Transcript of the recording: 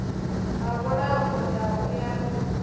ha mulambo ndau ya ri